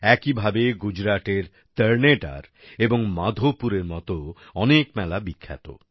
একইভাবে গুজরাটের তর্নেটার এবং মাধোপুরের মতন অনেক মেলা বিখ্যাত